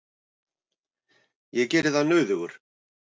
Ég geri það nauðugur.